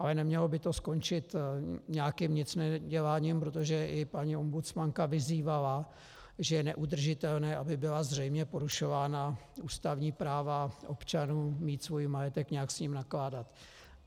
Ale nemělo by to skončit nějakým nicneděláním, protože i paní ombudsmanka vyzývala, že je neudržitelné, aby byla zřejmě porušována ústavní práva občanů mít svůj majetek, nějak s ním nakládat.